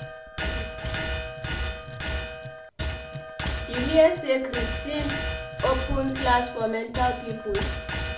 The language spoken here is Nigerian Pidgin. You hear say Christine open class for mental people